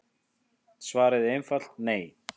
Svarið er einfalt nei.